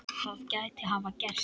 Það gæti hafa gerst.